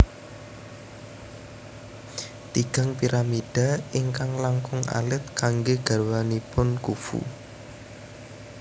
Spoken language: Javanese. Tigang piramida ingkang langkung alit kanggé garwanipun Khufu